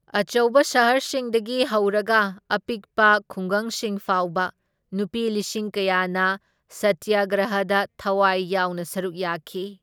ꯑꯆꯧꯕ ꯁꯍꯔꯁꯤꯡꯗꯒꯤ ꯍꯧꯔꯒ ꯑꯄꯤꯛꯄ ꯈꯨꯡꯒꯪꯁꯤꯡ ꯐꯥꯎꯕ ꯅꯨꯄꯤ ꯂꯤꯁꯤꯡ ꯀꯌꯥꯅ ꯁꯇꯤꯌꯒ꯭ꯔꯍꯗ ꯊꯋꯥꯏ ꯌꯥꯎꯅ ꯁꯔꯨꯛ ꯌꯥꯈꯤ꯫